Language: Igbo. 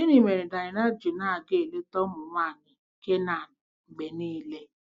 Gịnị mere Daịna ji na-aga eleta ụmụ nwaanyị Kenan mgbe niile?